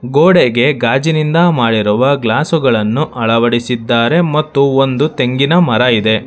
ಗೋಡೆಗೆ ಗಾಜಿನಿಂದ ಮಾಡಿದ ಗ್ಲಾಸುಗಳನ್ನು ಅಳವಡಿಸಿದ್ದಾರೆ ಮತ್ತು ಒಂದು ತೆಂಗಿನ ಮರ ಇದೆ.